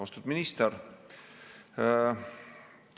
Austatud minister!